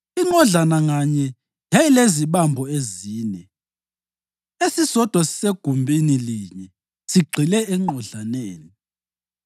Inqodlana nganye yayilezibambo ezine, esisodwa sisegumbini linye, sigxile enqodlaneni.